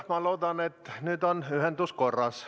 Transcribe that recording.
Ma loodan, et nüüd on ühendus korras.